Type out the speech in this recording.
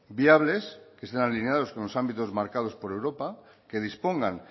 viables que estén alineados con los ámbitos marcados por europa que dispongan